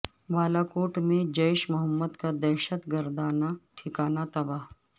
بالا کوٹ میں جیش محمد کا دہشت گردانہ ٹھکانہ تباہ